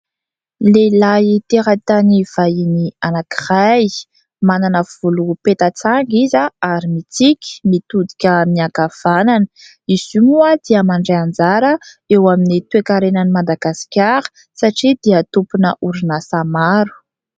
Lehilahy teratany vahiny anankiray, manana volo peta-tsanga izy ary mitsiky, mitodika miankavanana. Izy io moa dia mandray anjara eo amin'ny toe-karena an'i Madagasikara satria dia tompona orinasa maro.